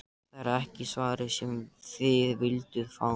Það er ekki svarið sem þið vilduð fá.